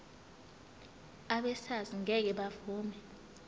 abesars ngeke bavuma